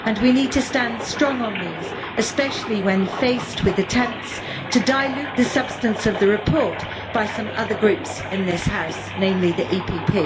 We need to stand strong on these, especially when faced with attempts to dilute the substance of the report by some other groups in this House, namely the EPP.